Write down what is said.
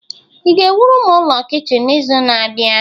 ị ga-ewuru m ụlọ kichin n'izu na-abịa?